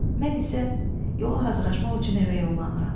Mən isə yola hazırlaşmaq üçün evə yollanıram.